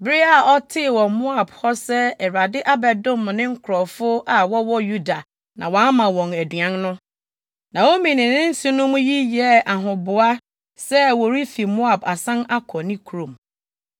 Bere a ɔtee wɔ Moab hɔ sɛ Awurade abɛdom ne nkurɔfo a wɔwɔ Yuda na wama wɔn aduan no, Naomi ne ne nsenom yi yɛɛ ahoboa sɛ wɔrefi Moab asan akɔ ne kurom.